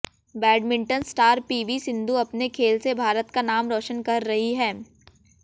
badminton star PV Sindhu अपने खेल से भारत का नाम रोशन कर रही है